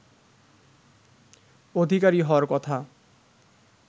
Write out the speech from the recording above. অধিকারী হওয়ার কথা